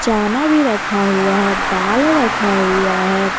चाना भी रखा हुआ है डाल रखा हुआ है।